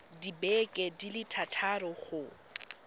dibeke di le thataro go